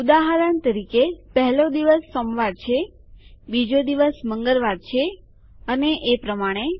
ઉદાહરણ તરીકે પહેલો દિવસ સોમવાર છે બીજો દિવસ મંગળવાર છે અને એ પ્રમાણે